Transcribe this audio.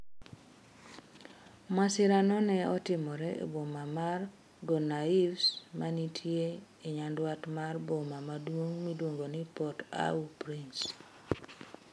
Masirano ne otimore e boma mar Gonaives mantie nyandwat mar boma maduong' miluongo ni Port au Prince.